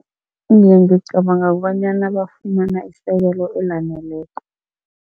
Iye, ngicabanga kobanyana bafumana isekelo elaneleko.